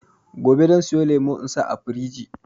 Gobe zan siyo lemo in sa a firiji